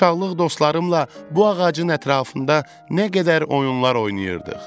Uşaqlıq dostlarımla bu ağacın ətrafında nə qədər oyunlar oynayırdıq.